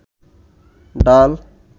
ডাল